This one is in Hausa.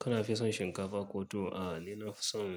Kana fi son shinkafa ko tuwo? A'a, ni na fi son